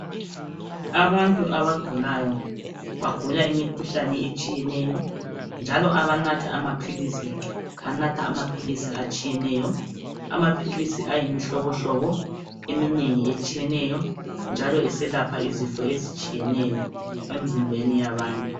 Abantu abagulayo bagula imikhuhlane etshiyeneyo njalo abanatha amaphilisi banatha amaphilisi atshiyeneyo Amaphilisi ayimihlobohlobo eminengi etshiyeneyo njalo iselapha izifo ezitshiyeneyo emzimbeni yabantu